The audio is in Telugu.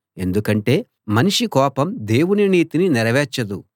ఎందుకంటే మనిషి కోపం దేవుని నీతిని నెరవేర్చదు